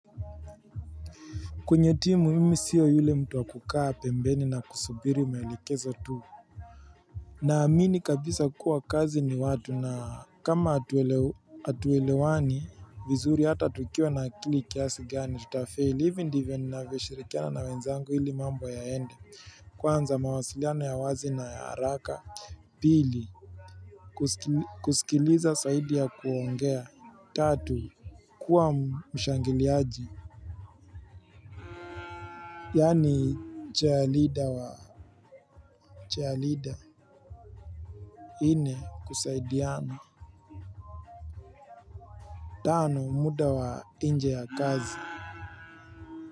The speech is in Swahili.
Kwenye timu mimi siyo yule mtu wa kukaa pembeni na kusubiri maelekezo tu Naamini kabisa kuwa kazi ni watu na kama hatuelewani vizuri hata tukiwa na akili kiasi gani tutafeli hivi ndivyo ninavyoshirikiana na wenzangu ili mambo yaende kwanza mawasiliano ya wazi na ya haraka. Pili kusikiliza saidi ya kuongea. Tatu kuwa mshangiliaji. Yaani chair leader wa chair leader. Nne kusaidiana tano muda wa nje ya kazi.